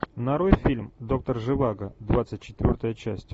нарой фильм доктор живаго двадцать четвертая часть